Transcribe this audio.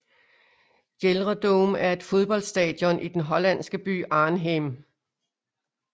GelreDome er et fodboldstadion i den hollandske by Arnhem